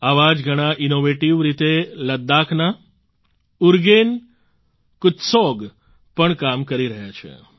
આવા જ ઘણાં ઈનોવેટિવ રીતે લદ્દાખના ઉરગેન ફૂત્સૌગ પણ કામ કરી રહ્યા છે